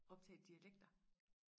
optage dialekter